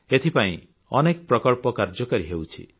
ଏଥିପାଇଁ ଅନେକ ପ୍ରକଳ୍ପ କାର୍ଯ୍ୟକାରୀ ହେଉଛି